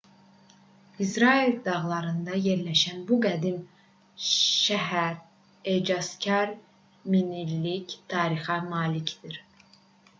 i̇srail dağlarında yerləşən bu qədim şəhər ecazkar minillik tarixə malikdir